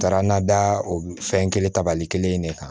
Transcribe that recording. Taara n na da o fɛn kelen tabali kelen in de kan